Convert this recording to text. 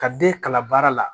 Ka den kalan baara la